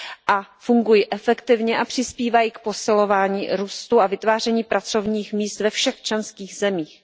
a fungují efektivně a přispívají k posilování růstu a vytváření pracovních míst ve všech členských zemích.